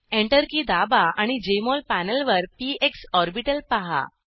enter key दाबा आणि JMol पॅनेलवर पीएक्स ऑर्बिटल पाहा